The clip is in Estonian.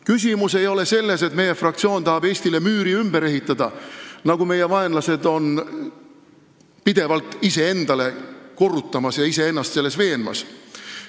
Küsimus ei ole selles, et meie fraktsioon tahab Eestile müüri ümber ehitada, nagu meie vaenlased pidevalt iseendale korrutavad ja iseennast veenavad.